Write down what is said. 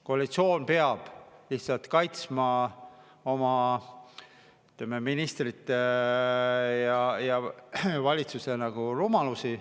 Koalitsioon peab lihtsalt kaitsma oma, ütleme, ministrite ja valitsuse rumalusi.